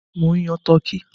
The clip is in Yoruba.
Mò ń yan turkey.